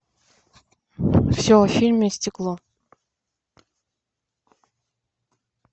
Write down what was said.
все о фильме стекло